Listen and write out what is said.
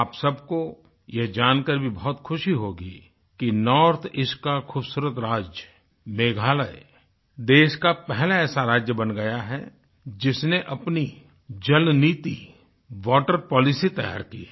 आप सबको यह जानकर भी बहुत खुशी होगी कि नॉर्थ ईस्ट का खूबसूरत राज्य मेघालय देश का पहला ऐसा राज्य बन गया है जिसने अपनी जलनीति वाटर पॉलिसी तैयार की है